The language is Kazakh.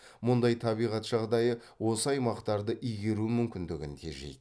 мұндай табиғат жағдайы осы аймақтарды игеру мүмкіндігін тежейді